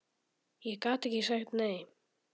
Ég gat ekki sagt nei.